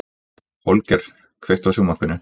Holger, kveiktu á sjónvarpinu.